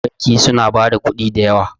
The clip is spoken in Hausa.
banki suna ba da kudi da yawa